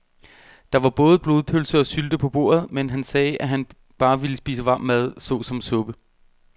Der var både blodpølse og sylte på bordet, men han sagde, at han bare ville spise varm mad såsom suppe.